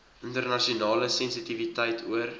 internasionale sensitiwiteit oor